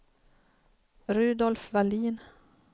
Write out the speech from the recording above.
Rudolf Vallin